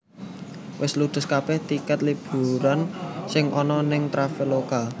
Wes ludes kabeh tiket liburan sing ono ning Traveloka